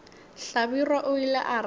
hlabirwa o ile a re